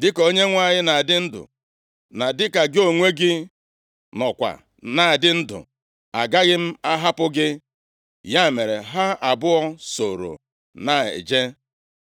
“Dịka Onyenwe anyị na-adị ndụ, na dịka gị onwe gị nọkwa na-adị ndụ, agaghị m ahapụ gị.” Ya mere, ha abụọ sooro na-eje.